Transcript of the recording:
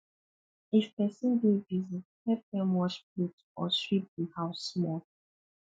if pesin dey busy help dem wash plate or sweep the house small